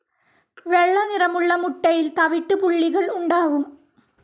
വെള്ളനിറമുള്ള മുട്ടയിൽ തവിട്ട് പുള്ളികൾ ഉണ്ടാവും.